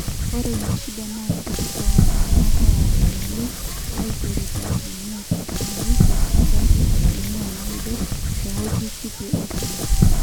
ore ina shida naa kiti tooletung'anak oota imali, aitero te asilimia tikitam oisiet nebaiki asilimia naaudo tewueji kiti osina